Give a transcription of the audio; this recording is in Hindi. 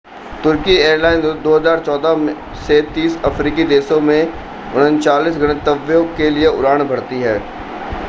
तुर्की एयरलाइंस 2014 से 30 अफ़्रीकी देशों में 39 गंतव्यों के लिए उड़ान भरती है